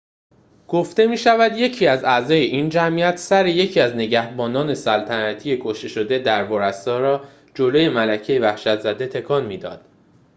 گفته می‌شود یکی از اعضای این جمعیت سر یکی از نگهبانان سلطنتی کشته‌شده در ورسای را جلوی ملکۀ وحشت‌زده تکان می‌داد